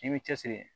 I b'i cɛsiri